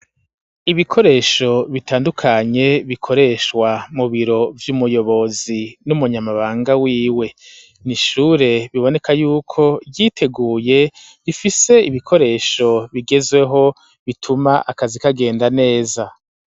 Ibikoresho bitandukanye bikoreshwa mu biro vy'umuyobozi n'umunyamabanga w'iwe, n'ishure biboneka yuko vyiteguye bifise ibikoresho bigezehwo bituma akazi kagenda neza.